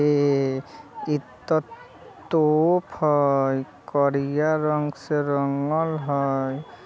ये इ ता तोप हई करिया रंग से रंगल हई ।